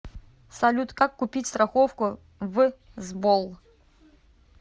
салют как купить страховку в сбол